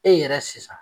E yɛrɛ sisan